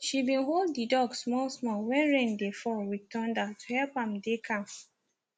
she been hold the dog small small when rain dey fall with thunder to help am dey calm